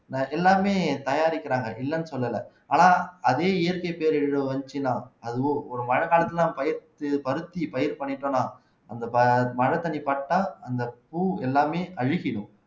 எல்லாமே தயாரிக்கிறாங்க இல்லைன்னு சொல்லல ஆனா அதே இயற்கை பேரழிவு வந்துச்சுன்னா அதுவும் ஒரு மழைக்காலத்துலதான் பயிர் பருத்தி பயிர் பண்ணிட்டோம்ன்னா அந்த மழைத்தண்ணி பட்டா அந்த பூ எல்லாமே அழுகிடும்